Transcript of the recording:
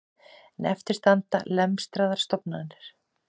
En eftir standa lemstraðar stofnanir